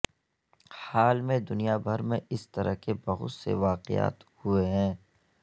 حال میں دنیا بھر میں اس طرح کے بہت سے واقعات ہوئے ہیں